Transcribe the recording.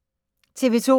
TV 2